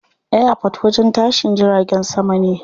Airport wajen tashin jiragen sama ne.